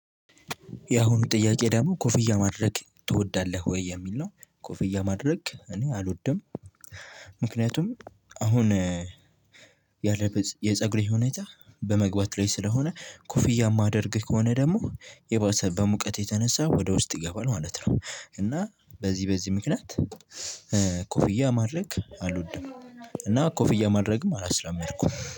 ያሁኑ ጥያቄ ደሞ ኮፍያ ማድረግ ትወዳለህ ወይ የሚል ነው? ኮፍያ ማድረግ እኔ አልወድም። ምክንያቱም አሁን ያለበት የፀጉሬ ሁኔታ በመግባት ላይ ስለሆነ ኮፍያ ማደርግ ከሆነ ደሞ የባሰ በሙቀት የተነሳ ወደ ውስጥ ይገባል ማለት ነው። እና በዚህ በዚህ ምክንያት ኮፍያ ማድረግ አልወድም። እና ኮፍያ ማድረግም አላስለመድኩም